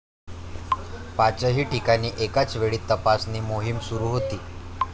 पाचही ठिकाणी एकाच वेळी तपासणी मोहिम सुरु होती.